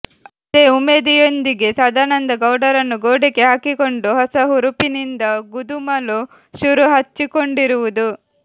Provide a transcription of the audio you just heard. ಅದೇ ಉಮೇದಿಯೊಂದಿಗೆ ಸದಾನಂದ ಗೌಡರನ್ನು ಗೋಡೆಗೆ ಹಾಕಿಕೊಂಡು ಹೊಸಹುರುಪಿನಿಂದ ಗದುಮಲು ಶುರು ಹಚ್ಚಿಕೊಂಡಿರುವುದು